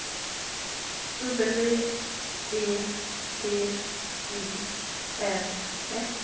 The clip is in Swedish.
W E D I N S